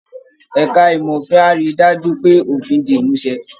Ẹ̀ka ìmọ̀ òfin á rí i dájú pé òfin di ìmúṣẹ